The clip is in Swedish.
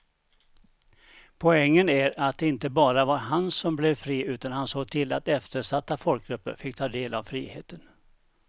Poängen är att det inte bara var han som blev fri utan han såg till att eftersatta folkgrupper fick ta del av friheten.